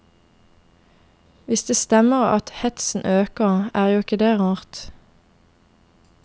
Hvis det stemmer at hetsen øker, er jo ikke det rart.